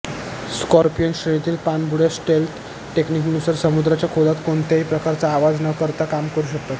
scorpion श्रेणीतील पाणबुड्या stealth टेकनिकनुसार समुद्राच्या खोलात कोणत्याही प्रकारचा आवाज न करता काम करु शकतात